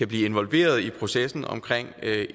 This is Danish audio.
blive involveret i processen omkring